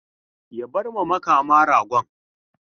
Ya bar ma Makama ragon.